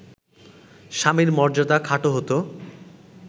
স্বামীর মর্যাদা খাটো হতো